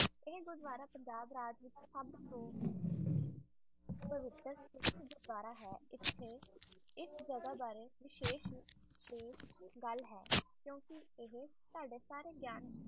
ਆਏ ਹੈ ਗੁਰੂਦਵਾਰਾ ਸਬ ਤੋਂ ਇਸ ਤੇ